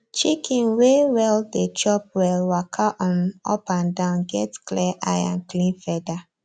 chicken way well dey chop well waka um up and down get clear eye and clean feather